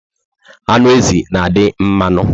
Anụ ezi na adị mmanụ